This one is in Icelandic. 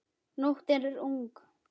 Nóttin er ung